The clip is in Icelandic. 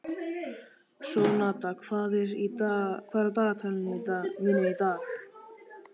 Sónata, hvað er á dagatalinu mínu í dag?